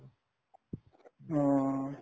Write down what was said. অ